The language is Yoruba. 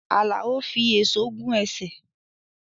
Alao fi èso gún ẹsẹ̀